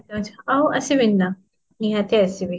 ଆଉ ଆସିବିନି ନା, ନିହାତି ଆସିବି